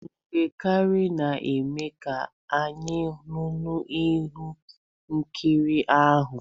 Mgbọ kranu na-eme ka anya nnụnụ hụ ihe nkiri ahụ.